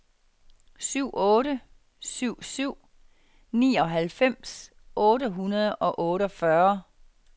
syv otte syv syv nioghalvfems otte hundrede og otteogfyrre